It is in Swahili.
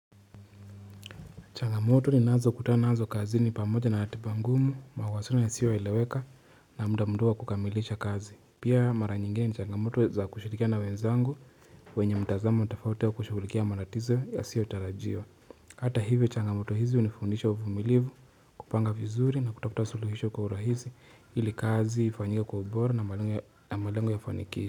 Changamoto ninazokutana nazo kazini pamoja na ratiba ngumu mawasiliano yasioeleweka na muda mdogo wa kukamilisha kazi pia mara nyingine ni changamoto za kushirikiana na wenzangu wenye mtazamo tofauti wa kushughulikia matatizo yasiyotarajiwa hata hivyo changamoto hizi hunifundisha uvumilivu kupanga vizuri na kutafuta suluhisho kwa urahisi ili kazi ifanyike kwa ubora na malengo ya ufanikisho.